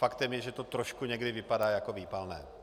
Faktem je, že to trošku někdy vypadá jako výpalné.